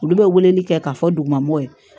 Olu bɛ weleli kɛ k'a fɔ duguma ye